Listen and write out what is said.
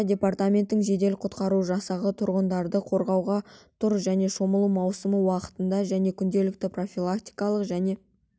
бойынша департаментінің жедел-құтқару жасағы тұрғындарды қорғауға тұр және шомылу маусымы уақытында және күнделікті профилактикалық және